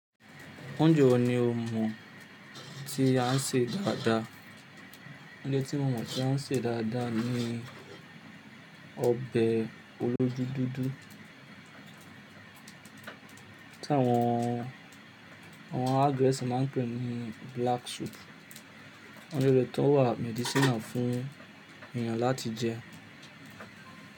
Oúnjẹ wo ni o mọ̀ tí a ń sè dáadáa? Oúnjẹ tí mọ mọ̀ tí wọ́n sè dáadáa ni ọbẹ̀ olójú dúdú tí àwọǹ geesi má ń pè ní black soup. Oúnjẹ rẹ̀ tó ń wà medicinal fún ènìyàn láti jẹ.